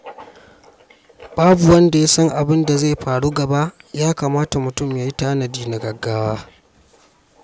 Babu wanda ya san abin da zai faru gaba, ya kamata mutum ya yi tanadi na gaugawa.